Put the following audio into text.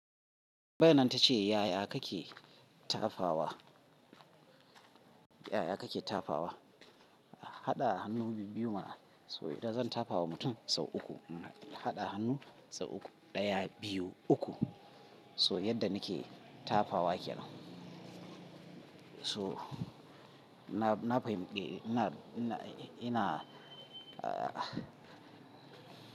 Tambayar nan ta ce yaya kake tafawa, yaya kake tafawa? Haɗa hannu biyu ma so idan zan tafawa mutum sau uku, haɗa hannu sau uku, ɗaya, biyu, uku. So yadda nike tafawa kenan. So na fahimce ina, ina, ina ah.